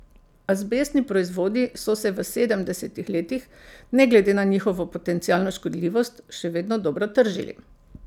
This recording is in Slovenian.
Azbestni proizvodi so se v sedemdesetih letih, ne glede na njihovo potencialno škodljivost, še vedno dobro tržili.